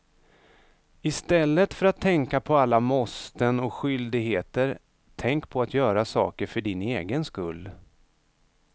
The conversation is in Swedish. Istället för att tänka på alla måsten och skyldigheter, tänk på att göra saker för din egen skull.